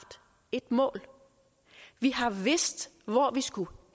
et mål vi har vidst hvor vi skulle